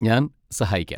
ഞാൻ സഹായിക്കാം.